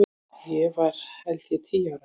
Ég var held ég tíu ára.